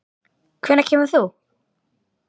Hvenær kemur þú?